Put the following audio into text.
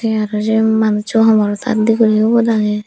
te aro se manuccho homorbot tal de gurine ubot age.